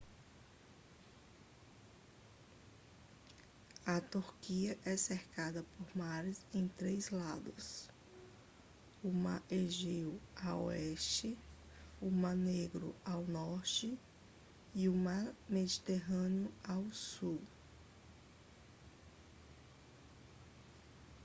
a turquia é cercada por mares em três lados o mar egeu a oeste o mar negro ao norte e o mar mediterrâneo ao sul